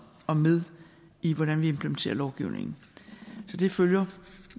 med i hvordan vi implementerer lovgivningen så det følger